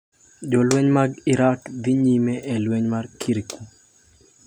Jolweny mag Iraq dhi nyime e lweny mar Kirkuk